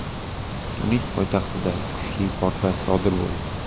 Tunis poytaxtida kuchli portlash sodir bo‘ldi .